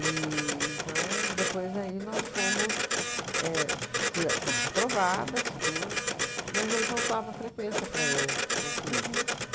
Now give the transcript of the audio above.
E então, depois aí nós fomos éh f fui a fomos aprovadas, tudo, mas aí faltava frequência para eu concluir. Uhum.